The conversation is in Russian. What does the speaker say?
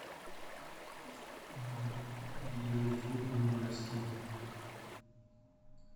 видео зуб мудрости